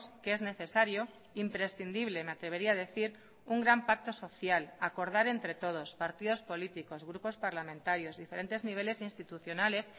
que es necesario imprescindible me atrevería a decir un gran pacto social acordar entre todos partidos políticos grupos parlamentarios diferentes niveles institucionales